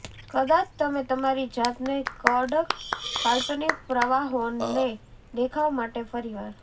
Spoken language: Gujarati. કદાચ તમે તમારી જાતને કડક કાલ્પનિક પ્રવાહોને દેખાવ માટે ફરીવાર